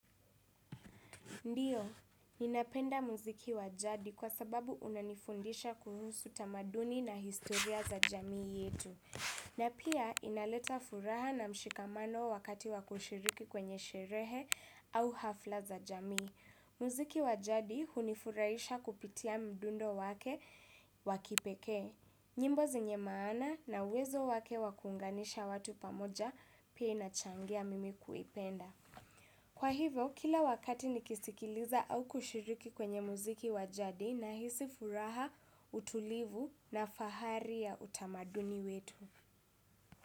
Ndiyo, ninapenda muziki wa jadi kwa sababu unanifundisha kuhusu tamaduni na historia za jamii yetu. Na pia inaleta furaha na mshikamano wakati wakushiriki kwenye sherehe au hafla za jamii. Muziki wa jadi hunifurahisha kupitia mdundo wake wakipeke. Nyimbo zenye maana na uwezo wake wakuunganisha watu pamoja, pia inachangia mimi kuipenda. Kwa hivyo, kila wakati nikisikiliza au kushiriki kwenye muziki wa jadi nahisi furaha, utulivu na fahari ya utamaduni wetu.